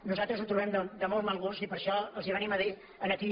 nosaltres ho trobem de molt mal gust i per això els venim a dir aquí